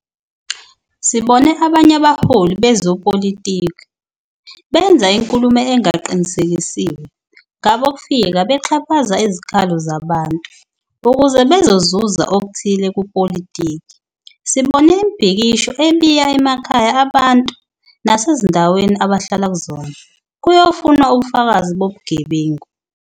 Sibone abanye abaholi bezepolitiki benza inkulumo engaqinisekisiwe ngabokufika bexhaphaza izikhalo zabantu ukuze bezozuza okuthile kupolitiki. Sibone imibhikisho ebiya emakhaya abantu nasezindaweni abahlala kuzona kuyofunwa ubufakazi bobugebengu.